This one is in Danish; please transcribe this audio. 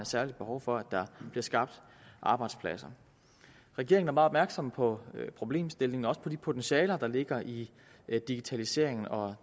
særligt behov for at der bliver skabt arbejdspladser regeringen opmærksom på problemstillingen og også på de potentialer der ligger i digitaliseringen og